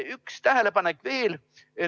Üks tähelepanek veel.